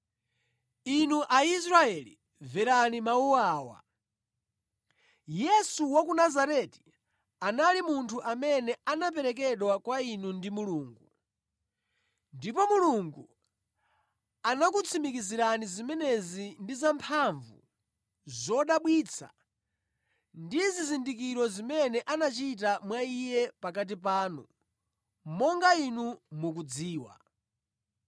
“Inu Aisraeli mverani mawu awa; Yesu wa ku Nazareti anali munthu amene anaperekedwa kwa inu ndi Mulungu. Ndipo Mulungu anakutsimikizirani zimenezi ndi zamphamvu, zodabwitsa ndi zizindikiro zimene anachita mwa Iye pakati panu, monga inu mukudziwa.